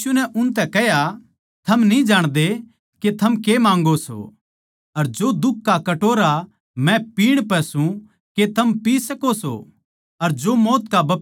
यीशु नै उसतै कह्या हमनै यो हक दे के तेरी महिमा म्ह म्हारै म्ह तै एक तेरै सोळै अर दुसरा तेरै ओळै बैट्ठै